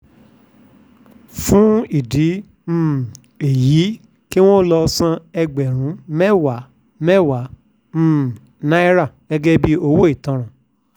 fún ìdí um èyí kí wọ́n lọ́ọ́ san ẹgbẹ̀rún mẹ́wàá-mẹ́wàá um náírà gẹ́gẹ́ bíi owó ìtanràn